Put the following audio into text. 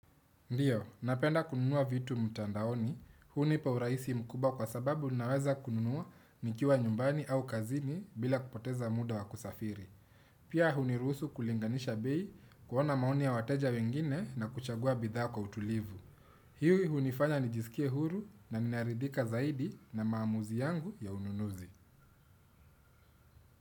Ndiyo, napenda kununua vitu mtandaoni, hunipa urahisi mkubwa kwa sababu ninaweza kununua nikiwa nyumbani au kazini bila kupoteza muda wa kusafiri. Pia huniruhusu kulinganisha bei, kuona maoni ya wateja wengine na kuchagua bidhaa kwa utulivu. Hii hunifanya nijisikie huru na ninaridhika zaidi na maamuzi yangu ya ununuzi.